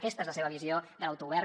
aquesta és la seva visió de l’autogovern